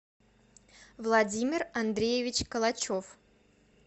владимир андреевич калачев